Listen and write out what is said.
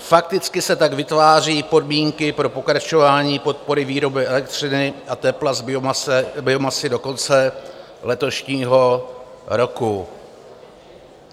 Fakticky se tak vytváří podmínky pro pokračování podpory výroby elektřiny a tepla z biomasy do konce letošního roku.